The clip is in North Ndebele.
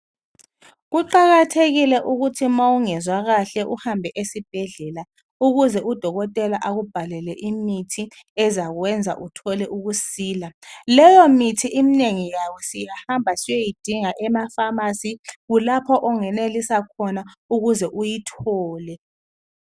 Kuqakathekile ukuthi ma ungezwa kahle uhambe esibhedlela ukuze udokotela akubhalele imithi ezakwenza uthole ukusila. Leyo mithi inengi layo siyahamba siyoyidinga emafamasi kulapho ongenelisa khona ukuze uyithole.